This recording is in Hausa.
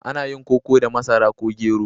Ana yin koko da masara ko gero.